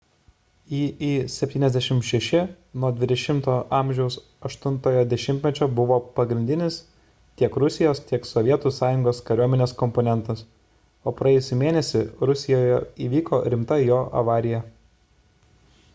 il-76 nuo xx a 8-ojo dešimtmečio buvo pagrindinis tiek rusijos tiek sovietų sąjungos kariuomenės komponentas o praėjusį mėnesį rusijoje įvyko rimta jo avarija